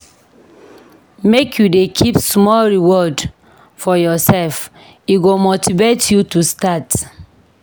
Make you dey keep small reward for yoursef, e go motivate you to start.